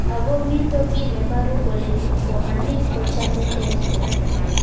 Ako mito kiy neparu kole kipsomanik kochame EdTech